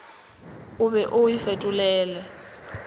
o be o o fetolele